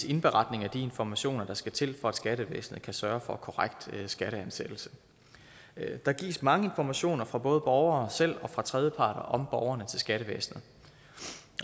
indberetninger af de informationer der skal til for at skattevæsenet kan sørge for korrekt skatteansættelse der gives mange informationer fra både borgere selv og fra tredjeparter om borgerne til skattevæsenet